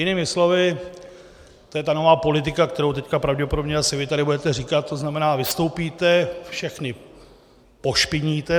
Jinými slovy, to je ta nová politika, kterou teď pravděpodobně asi vy tady budete říkat, to znamená, vystoupíte, všechny pošpiníte.